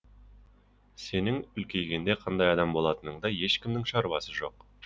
сенің үлкейгенде қандай адам болатыныңда ешкімнің шаруасы жоқ